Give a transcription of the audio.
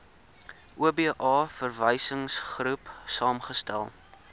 oba verwysingsgroep saamgestel